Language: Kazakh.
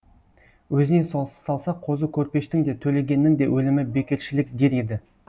өзіне салса қозы көрпештің де төлегеннің де өлімі бекершілік дер еді